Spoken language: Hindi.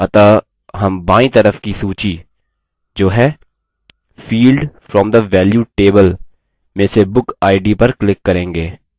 अतः हम बायीं तरफ की सूची जो है field from the value table में से book id पर click करेंगे